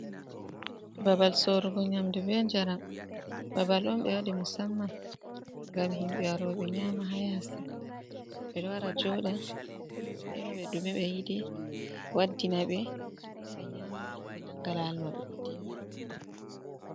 Babal sorugo nyamdu be njaram babal on ɓe waɗi musamman ngam himɓe waro ɓe nyama ha yasi ɓe wara ɓe joɗa ɓe ema ɓe ɗume ɓe yiɗi waddina ɓe ɓe nyama ɓe nanga lawol maɓɓe ɓe dilla.